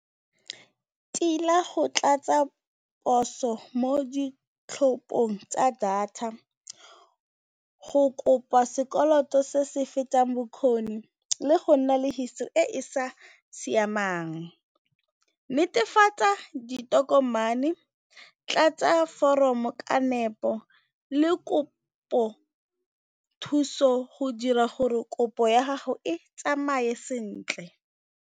Tila go tlatsa poso mo ditlhopong tsa data go kopa sekoloto se se fetang bokgoni le go nna le e e sa siamang. Netefatsa ditokomane, tlatsa foromo ka nepo le kopo thuso go dira gore kopo ya gago e tsamaye sentle.